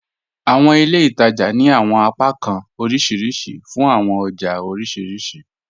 Àwọn ilẹ̀ ìtaja ni àwọn apakàn oríṣiríṣì fún àwọn ọjà oríṣiríṣì